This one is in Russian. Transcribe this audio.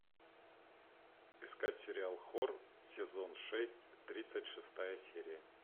искать сериал хор сезон шесть тридцать шестая серия